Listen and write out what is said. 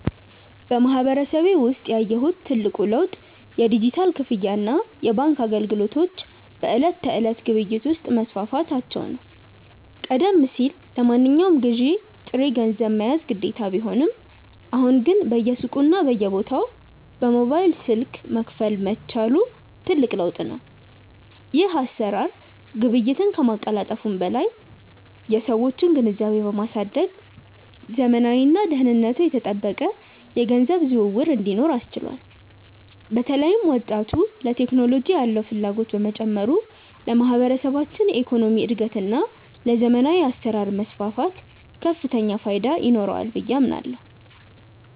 በማህበረሰቤ ውስጥ ያየሁት ትልቁ ለውጥ የዲጂታል ክፍያና የባንክ አገልግሎቶች በዕለት ተዕለት ግብይት ውስጥ መስፋፋታቸው ነው። ቀደም ሲል ለማንኛውም ግዢ ጥሬ ገንዘብ መያዝ ግዴታ ቢሆንም፣ አሁን ግን በየሱቁና በየቦታው በሞባይል ስልክ መክፈል መቻሉ ትልቅ ለውጥ ነው። ይህ አሰራር ግብይትን ከማቀላጠፉም በላይ የሰዎችን ግንዛቤ በማሳደግ ዘመናዊና ደህንነቱ የተጠበቀ የገንዘብ ዝውውር እንዲኖር አስችሏል። በተለይም ወጣቱ ለቴክኖሎጂ ያለው ፍላጎት መጨመሩ ለማህበረሰባችን የኢኮኖሚ እድገትና ለዘመናዊ አሰራር መስፋፋት ከፍተኛ ፋይዳ ይኖረዋል ብዬ አምናለሁ።